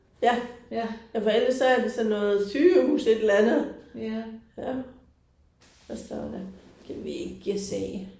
Ja. Ja for ellers så er det sådan noget sygehus et eller andet. Ja. Hvad står der, kan vi ikke se